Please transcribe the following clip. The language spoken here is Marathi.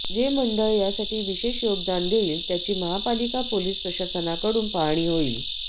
जे मंडळ यासाठी विशेष योगदान देईल त्याची महापालिका पोलीस प्रशासनाकडून पाहणी होईल